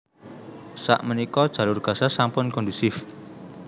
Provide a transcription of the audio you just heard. Sak menika Jalur Gaza sampun kondusif